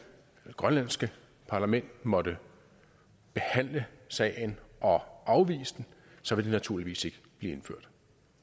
eller grønlandske parlament måtte behandle sagen og afvise den så vil det naturligvis ikke blive indført